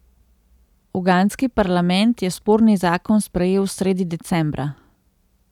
Ugandski parlament je sporni zakon sprejel sredi decembra.